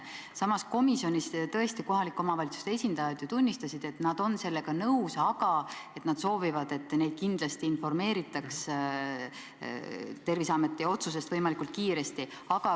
Samas, komisjonis tõesti kohalike omavalitsuste esindajad ju tunnistasid, et nad on sellega nõus, aga nad soovivad, et neid kindlasti informeeritaks Terviseameti otsusest võimalikult kiiresti.